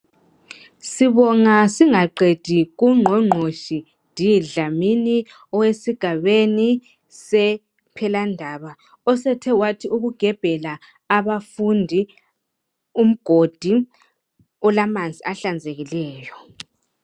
Sibonga singaqedi kungqongqotshi D Dlamini esigabeni sePhelandaba osethe wathi ukugebhela abafundi umgodi olamanzi ahlanzekileyo.